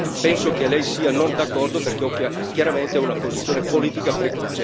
Penso che Lei non sia d'accordo perché ha chiaramente una posizione politica preconcetta